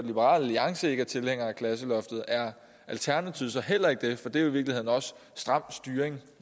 liberal alliance ikke er tilhænger af klasseloftet er alternativet så heller ikke det for det er jo i virkeligheden også stram styring